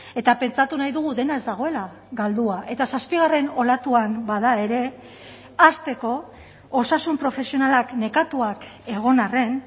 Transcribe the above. eta pentsatu nahi dugu dena ez dagoela galdua eta zazpigarren olatuan bada ere hasteko osasun profesionalak nekatuak egon arren